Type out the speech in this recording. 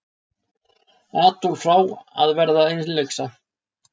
Adolf frá að verða innlyksa.